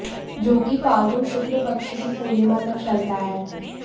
जो कि फाल्गुन शुक्ल पक्ष की पूर्णिमा तक चलता है